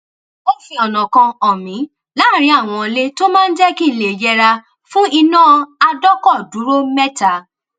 ó fi ònà kan hàn mí láàárín àwọn ilé tó máa jé kí n lè yẹra fún iná adọkọdúró méta